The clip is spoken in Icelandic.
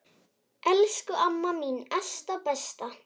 Elsku amma mín Esta besta.